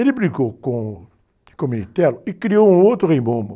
Ele brigou com, com o e criou um outro rei momo.